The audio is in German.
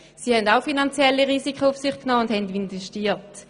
Sie haben auch finanzielle Risiken auf sich genommen und haben investiert.